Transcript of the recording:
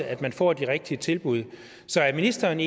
at man får de rigtige tilbud så er ministeren